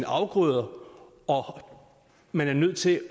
afgrøder og man er nødt til